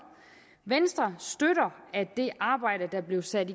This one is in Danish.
venstre støtter at det arbejde der blev sat